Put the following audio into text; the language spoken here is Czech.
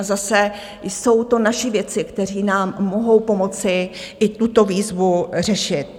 A zase jsou to naši vědci, kteří nám mohou pomoci i tuto výzvu řešit.